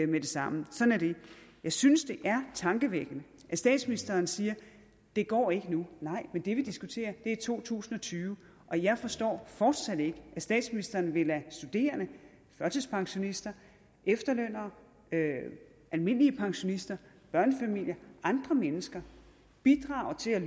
det samme sådan er det jeg synes det er tankevækkende at statsministeren siger det går ikke nu nej men det vi diskuterer er to tusind og tyve og jeg forstår fortsat ikke at statsministeren vil lade studerende førtidspensionister efterlønnere almindelige pensionister børnefamilier og andre mennesker bidrage til at